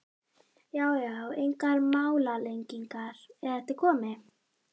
Já já, engar málalengingar, er þetta komið?